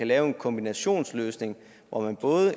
lave en kombinationsløsning hvor man